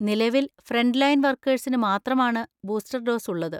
നിലവിൽ ഫ്രന്റ്ലൈൻ വർക്കേഴ്സിന് മാത്രമാണ് ബൂസ്റ്റർ ഡോസ് ഉള്ളത്.